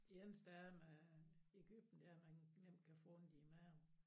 Det eneste er at man i Egypten dér nemt kan få ondt i maven